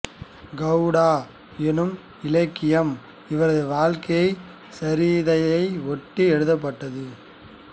கவுரா என்னும் இலக்கியம் இவரது வாழ்க்கைச் சரிதையை ஒட்டி எழுதப்பட்டது